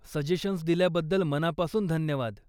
Suggestions दिल्याबद्दल मनापासून धन्यवाद.